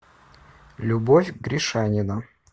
любовь гришанина